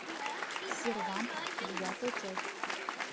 сервант девятая часть